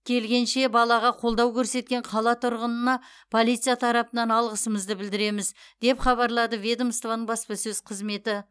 келгенше балаға қолдау көрсеткен қала тұрғынына полиция тарапынан алғысымызды білдіреміз деп хабарлады ведомствоның баспасөз қызметі